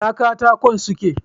Ina katakon suke?